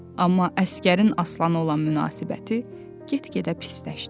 Amma əsgərin Aslanı olan münasibəti get-gedə pisləşdi.